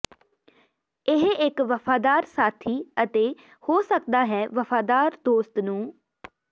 ਇਹ ਇੱਕ ਵਫ਼ਾਦਾਰ ਸਾਥੀ ਅਤੇ ਹੋ ਸਕਦਾ ਹੈ ਵਫ਼ਾਦਾਰ ਦੋਸਤ ਨੂੰ